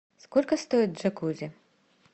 сколько стоит джакузи